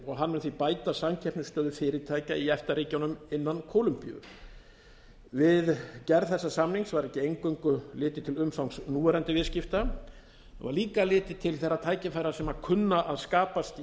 og hann mun því bæta samkeppnisstöðu fyrirtækja í efta ríkjunum innan kólombíu við gerð þessa samnings var ekki eingöngu litið til umfangs núverandi viðskipta það var líka litið til þeirra tækifæra sem kunna að skapast í